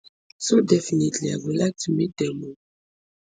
so definitely i go like to meet dem um